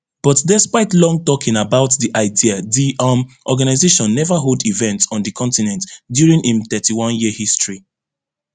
but despite long talking about di idea di um organisation neva hold event on di continent during im thirty-oneyear history